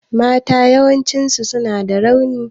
Mata yawanci suna da rauni.